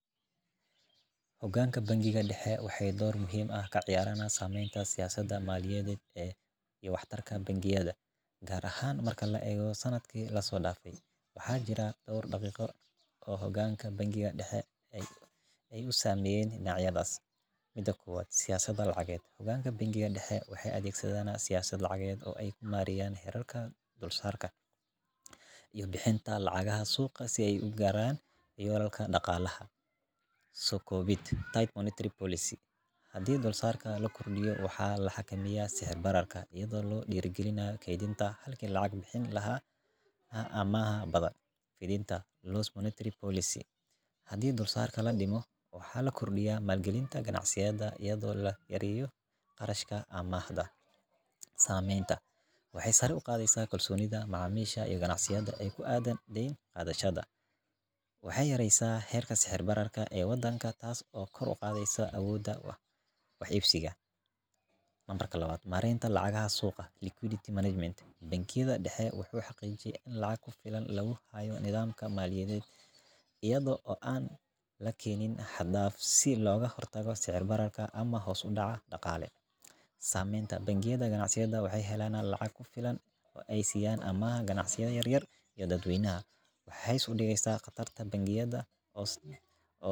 Hoganka bangiga daxe waxee dor muhiim ah samenta siyasaada maliyaded ee waxtarka bangiyaada gar ahan marki la arosanaya, waxaa jira dor nocod ee hoganka daxe ee ugu sameyen nocyadas mida kiwaad siyasaada lacaged, bangiga daxe waxee adhegsadhan siyasad xirarka dulsaran dulbixinta lacagaha suqa si ee ugaran wararka daqalaha, sokowinta hadii dalsarka lakordiyo waxaa lacag ximiya sixir bararka iyaada oo lakirdiya kedinta halka lacag bixinta warta nawaada la kariyo qarashka waxee sare uqada macamisa deen qadashaada waxee yareysa herka sixir bararka den qadashaada wadanka tasi oo kor uqadheysa wax ibsiga, nambarkaa lawaad marenta lacagaha suqa security management bangiyaada daxe wuxuu xojiya maliyadeed iyada oo an la kenin dafsin ama sicir bararka suqa kale samenta bangiyaada ganacsiga waxee helana lacag kufilan oo ee siyan ama ganacsiga yar yar ee dad weynaha waxee hos udigeyan qadashaada bangiyaada tas oo.